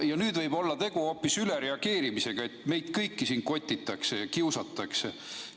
Ja nüüd võib olla tegu hoopis ülereageerimisega, meid kõiki kotitakse ja kiusatakse.